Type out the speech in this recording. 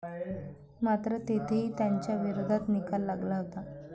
मात्र तेथेही त्यांच्या विरोधात निकाल लागला होता.